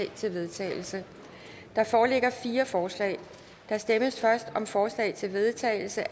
til vedtagelse der foreligger fire forslag der stemmes først om forslag til vedtagelse